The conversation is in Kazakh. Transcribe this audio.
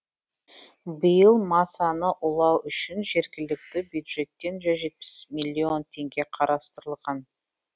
биыл масаны улау үшін жергілікті бюджеттен жүз жетпіс миллион теңге қарастырылған